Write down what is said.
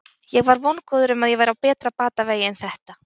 Ég var vongóður um að ég væri á betri batavegi en þetta.